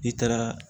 I taara